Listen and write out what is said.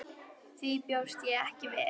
Því bjóst ég ekki við.